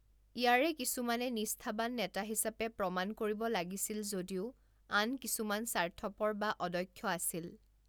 ইয়াৰে কিছুমানে নিষ্ঠাবান নেতা হিচাপে প্ৰমাণ কৰিব লাগিছিল যদিও আন কিছুমান স্বাৰ্থপৰ বা অদক্ষ আছিল।